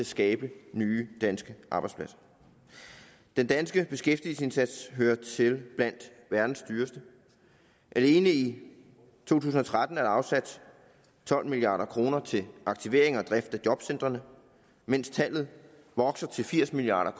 skabe nye danske arbejdspladser den danske beskæftigelsesindsats hører til blandt verdens dyreste alene i to tusind og tretten er der afsat tolv milliard kroner til aktivering og drift af jobcentrene mens tallet vokser til firs milliard